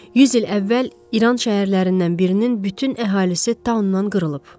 100 il əvvəl İran şəhərlərindən birinin bütün əhalisi taunnan qırılıb.